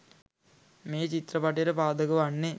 මේ චිත්‍රපටයට පාදක වන්නේ